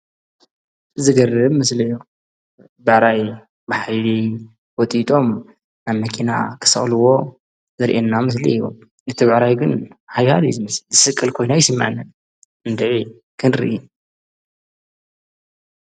ዝገርም ምስሊ እዮ ብዕራይ ብሓይሊ ወጢጦም ኣብ መኪና ኽሰቅልዎ ዘርአና ምስሊ እዮ እቲ ብዕራይ ግን ሓያል እዩ ዝመስል ዝስቀል ኮይኑ አይስምዐንን እንድዒ ክንሪ!